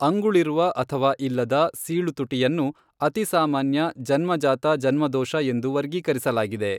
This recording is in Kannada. ಅಂಗುಳಿರುವ ಅಥವಾ ಇಲ್ಲದ ಸೀಳು ತುಟಿಯನ್ನು ಅತಿಸಾಮಾನ್ಯ ಜನ್ಮಜಾತ ಜನ್ಮದೋಷ ಎಂದು ವರ್ಗೀಕರಿಸಲಾಗಿದೆ.